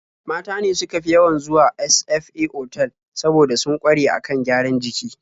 Mata ne suka fi yawan zuwa sfa otal saboda sun ƙware a kan gyaran jiki.